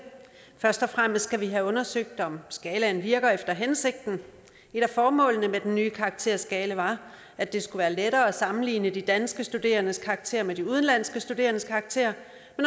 først og fremmest skal vi have undersøgt om skalaen virker efter hensigten et af formålene med den nye karakterskala var at det skulle være lettere at sammenligne de danske studerendes karakterer med de udenlandske studerendes karakterer